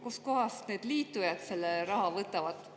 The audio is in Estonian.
Kustkohast need liitujad selle raha võtavad?